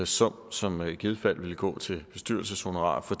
sum som i givet fald vil gå til bestyrelseshonorarer for